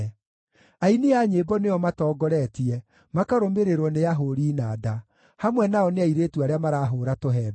Aini a nyĩmbo nĩo matongoretie, makarũmĩrĩrwo nĩ ahũũri inanda; hamwe nao nĩ airĩtu arĩa marahũũra tũhembe.